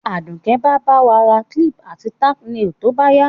Àdùké ba ba wa ra clip àti tack nails to báyá